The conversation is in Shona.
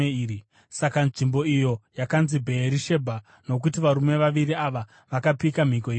Saka nzvimbo iyo yakanzi Bheerishebha, nokuti varume vaviri ava vakapika mhiko ipapo.